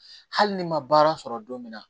Hali ni ma baara sɔrɔ don min na